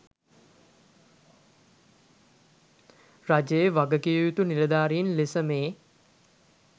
රජයේ වගකිවයුතු නිලධාරීන් ලෙස මේ